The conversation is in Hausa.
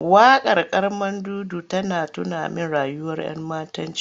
Waƙar Carmandudu tana tuna min rayuwar ‘yammatanci.